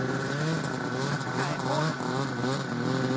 Kai Horn